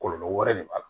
Kɔlɔlɔ wɛrɛ de b'a la